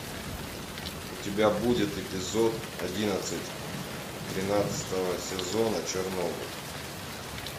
у тебя будет эпизод одиннадцать тринадцатого сезона чернобыль